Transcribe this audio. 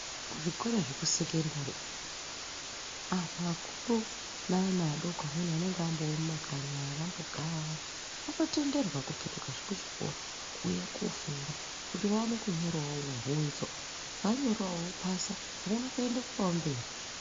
Kuzvikora zvekusekendari antu akuru naana adoko amweni anenge amboo mumakanyi vambogara vanotenderwa kupetukazve kuchikora uye kufunda kuti vaone kunyorawo bvunzo vanyorawo vopasa voona kuendeswawo mberi.